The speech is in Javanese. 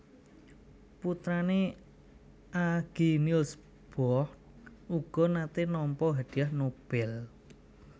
Putrané Aage Niels Bohr uga naté nampa Hadiah Nobel